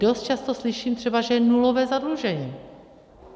Dost často slyším třeba, že je nulové zadlužení.